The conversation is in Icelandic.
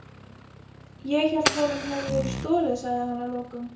Ég hélt honum hefði verið stolið sagði hann að lokum.